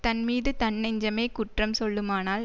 தன் மீது தன் நெஞ்சமே குற்றம் சொல்லுமானால்